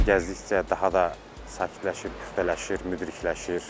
Gəzdikcə daha da sakitləşir, püxtələşir, müdrikləşir.